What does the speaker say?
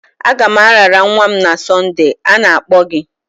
Agam arara nwa m na Sonde, a na-akpọ gị.